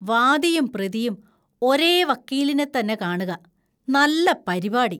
വാദിയും പ്രതിയും ഒരേ വക്കീലിനെത്തന്നെ കാണുക! നല്ല പരിപാടി!